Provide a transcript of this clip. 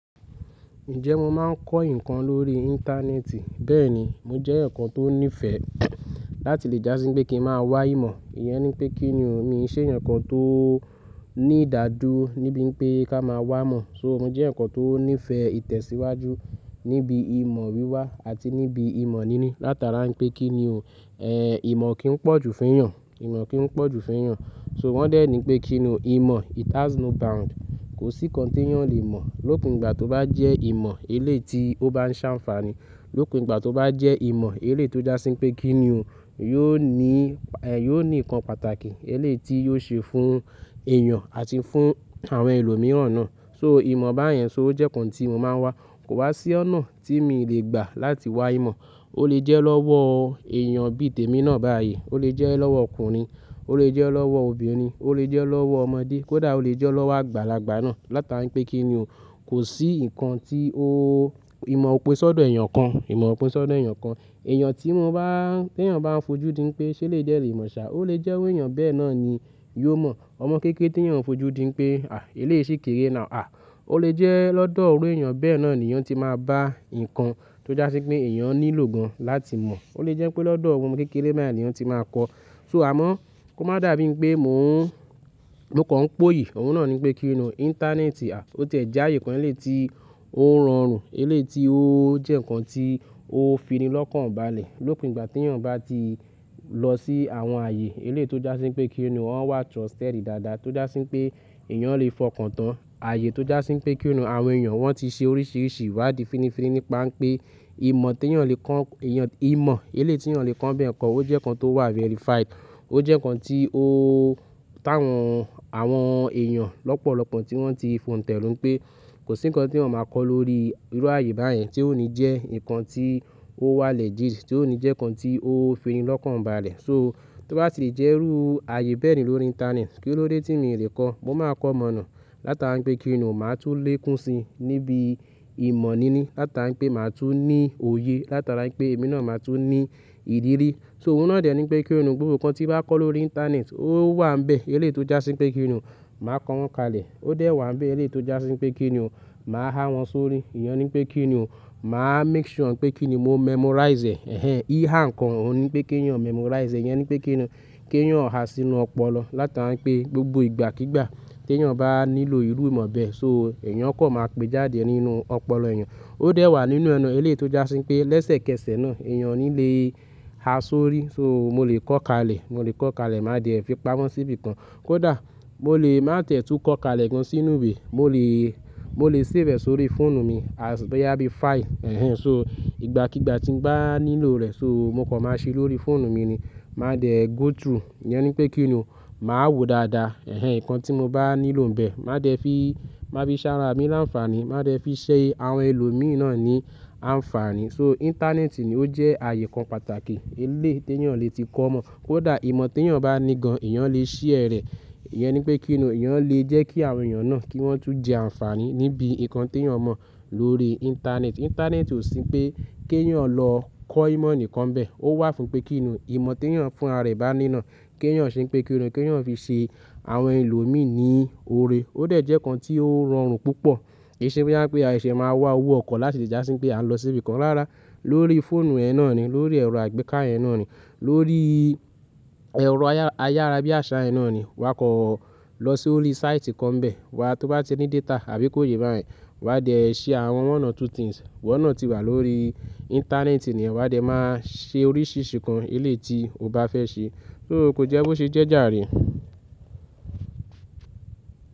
Ǹjẹ́ mo máa ń kọ́ ǹkan lórí íńtánéètì? Bẹ́ẹ̀ ni. Mo jẹ́ ǹkan tó ní ìfẹ́ láti lè jásí pé kí n máa wá ìmọ̀. Ìyẹn ni pé kí ni o, mi ṣé ǹkan tó ní ìdádúró níbi pé ká máa wá mọ̀. So mo jẹ́ ǹkan tó ní ìfẹ́ ìtẹ̀síwájú níbi ìmọ̀ wíwá àti níbi ìmọ̀ níní. Látara pé kí ni o, ẹ̀, ìmọ̀ kì í pọ̀jù fún èèyàn, ìmọ̀ kì í pọ̀jù fún èèyàn. So wọ́n dè ní pé kí ni o, ìmọ̀ it has no bound. Kò sí nkan ti èèyàn o le ìmọ̀. Lókùú ìgbà tó bá jẹ́ ìmọ̀ eléti ó bá ń sa àǹfààní, lókùú ìgbà tó bá jẹ́ ìmọ̀ elétó jásí pé kí ni o, yóò ní, ẹ́, yóò ní ǹkan pàtàkì eléti yóò ṣe fún èèyàn àti fún àwọn ẹlòmíràn náà. So ìmọ̀ báyẹn so jẹ́ ǹkan tí mo máa ń wá. Kò wá sí ọ̀nà tí mi lè gbà láti wá ìmọ̀. Ó lè jẹ́ lọ́wọ́ èèyàn bí i tèmi náà báyìí, ó lè jẹ́ lọ́wọ́ ọkùnrin, ó lè jẹ́ lọ́wọ́ obìnrin, ó lè jẹ́ lọ́wọ́ ọmọdé, kódà ó lè jẹ́ lọ́wọ́ àgbàlagbà náà látara pé kí ni o. Kò sí ǹkan tí óóò ìmọ̀ ó pé sọ́dọ̀ èèyàn kan, ìmọ̀ ó pé sọ́dọ̀ èèyàn kan. Èèyàn tí wọn bá, tí èèyàn bá ń fojú di pé ṣé elèyi dẹ́ le mọ̀ sá, ó lè jẹ́ iru èèyàn bẹ́ẹ̀ náà ni yóò mọ̀. Ọmọ kékeré tí èèyàn ń fojú di pé, à ílé yìí ṣì kéré ná. À, ó lè jẹ́ lọ́dọ̀ iru èèyàn bẹ́ẹ̀ náà ni yóò ti máa bá ǹkan tó jásí pé èèyàn nílò gan láti mọ̀. Ó lè jẹ́ pé lọ́dọ̀ ọmọ kékeré báyìí ni yóò ti máa kọ́. So àmọ́, ko má dàbí pé mò ń, mo kàn ń póyè. Òwun nà ni pé kí ni o, íńtánéètì, à, ó tẹ̀ já àyè kan eléyi ti ó ń ranrun, eléyi ti ó jẹ́ ǹkan tí ó fi ni lọ́kàn balẹ̀. Lópo ìgbà tí èèyàn bá ti lọ sí àwọn àyè eléyi tó jásí pé kí ni o, wọ́n wà trusted dáadáa tó jásí pé èèyàn lè fọkàn tán. Ààyè tó jásí pé kí ni o, àwọn èèyàn wọ́n ti ṣe oríṣiríṣi iwá di fínifíní nípa pé ìmọ̀ tí èèyàn lè kọ́, èèyàn, ìmọ̀ eléti èèyàn lè kọ́ ń bí ẹ̀kọ́, ó jẹ́ ǹkan tó wà verified. Ó jẹ́ ǹkan tí óóó táwọn, àwọn èèyàn lọ́pọ̀lọ́pọ̀ tí wọ́n ti fò ń tẹ̀rún pé kò sí ǹkan tí wọ́n máa kọ́ lórí irú ààyè báyìí tí ó ní jẹ́ ǹkan tí ó wà legit, tí ó ní jẹ́ ǹkan tí ó fi ni lọ́kàn balẹ̀. So tí wọ́n bá ti lè jẹ́ irú ààyè bẹ́ẹ̀ ní lórí íńtánéètì, kí ló dé tí mi n lè kọ́? Mo máa kọ́ mọ̀nà látara pé kí ni o, màá tún lè kún si níbi ìmọ̀ níní látara pé màá tún ní òye látara pé èmi náà máa tún ní ìdírí. So òun nà dè ní pé kí ni o, gbogbo ǹkan tí bàá kọ́ lórí íńtánéètì ó wà bẹ́ẹ̀ eléyi ti ó jásí pé kí ni o, màá kọ wọ́n kalẹ̀. Ó dè wà bẹ́ẹ̀ eléyi ti ó jásí pé kí ni o, màá há wọn sórí. Ìyẹn ni pé kí ni o, màá make sure pé kí ni mo memorize ẹ́, hhen. Í há ǹkan òun ni pé kí ni o memorize, ẹ̀yẹn ni pé kí ni o, kí èèyàn há sínú ọpọlọ látara pé gbogbo ìgbàkígbà tí èèyàn bá nílò irú ìmọ̀ bẹ́ẹ̀, so èèyàn kò máa péjádè nínú ọpọlọ èèyàn. Ó dè wà nínú ẹ na eléyi ti ó jásí pé lẹ́sẹ̀kẹsẹ̀ náà èèyàn ní lè há sórí. So mo lè kọ kalẹ̀, mo lè kọ kalẹ̀ máa dè fi pamọ́ síbi kan. Kódà mo lè má tẹ̀tú kọ kalẹ̀ gan sínú iwe. Mo lè, mo lè save ẹ sórí fóònù mi as bí i á bí i file, ẹ́hẹn. So ìgbàkígbà tí n bá nílò rẹ̀, so mo kò máa ṣe lórí fóònù mi ni. Màá dè go through. Ìyẹn ni pé kí ni o, màá wo dáadáa, ẹ̀hẹn, ǹkan tí mo bá nílò bẹ́ẹ̀, màá dè fi, màá fi sára mí làǹfààní, màá dè fi ṣẹ́yẹ àwọn ẹlòmíì náà ni àǹfààní. So íńtánéètì ni ó jẹ́ ààyè kan pàtàkì eléyi ti èèyàn lè ti kọ́ ìmọ̀. Kódà ìmọ̀ tí èèyàn bá ní gan, èèyàn lè ṣe rẹ̀. Ìyẹn ni pé kí ni o, èèyàn lè jẹ́ kí àwọn èèyàn náà kí wọ́n tún jẹ àǹfààní níbi ǹkan tí èèyàn mọ̀ lórí íńtánéètì. Íńtánéètì ò sí pé kí èèyàn lọ kọ́ ìmọ̀ nìkan bẹ́ẹ̀. Ó wà fún pé kí ni o, ìmọ̀ tí èèyàn fún ara rẹ̀ bá ní iná, kí èèyàn ṣe pé kí ni o, kí èèyàn fi ṣe àwọn ẹlòmíì ní ore. Ó dè jẹ́ ǹkan tí ó ranrun púpọ̀. Ìṣe bí i dáńpé, àìṣẹ̀ máa wá wó ọkọ̀ láti lè jásí pé à ń lọ síbi kan rárá. Lórí fóònù ẹ náà ni, lórí ẹ̀rọ àgbéká ẹ náà ni, lórí ẹ̀rọ ayára bí i àṣá ẹ náà ni, wa kọ̀ lọ sí orí sáìtì kan bẹ́ẹ̀. Wa tó bá ti ní data àbí kó ye báyìí, wa dè ṣe àwọn one or two things wọ́n náà ti wà lórí íńtánéètì ni. Wa dè máa ṣe oríṣiríṣi ǹkan eléyi ti o bá fẹ́ ṣe. So ò ko jẹ́ bó ṣe jẹ́jà rí.